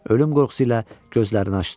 Ölüm qorxusu ilə gözlərini açdı.